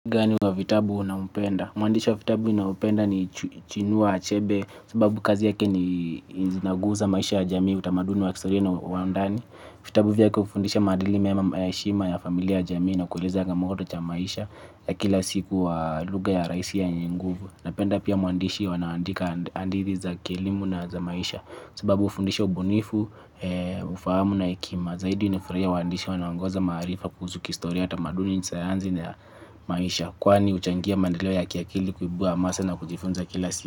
Gani wa vitabu unampenda? Mwandishi wa vitabu nampenda ni chinua achebe sababu kazi yake ni zinaguza maisha ya jamii utamaduni wa kistoria na wa undani. Vitabu vyake hufundisha madili mema mayashima ya familia ya jamii na kuleza ya gamoto cha maisha ya kila siku wa luga ya raisi yenye nguvu na penda pia mwandishi wanawandika andidhi za kielimu na za maisha sababu ufundisha ubunifu, ufahamu na ekima zaidi nifraia mwandishi wanawangoza marifa kuzuki istoria atamaduni nisayanzi na ya maisha kwani uchangia mandaleo ya kiakili kubua masa na kujifunza kila siku.